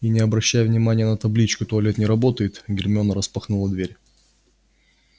и не обращая внимания на табличку туалет не работает гермиона распахнула дверь